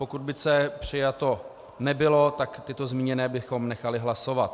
Pokud by C přijato nebylo, tak tyto zmíněné bychom nechali hlasovat.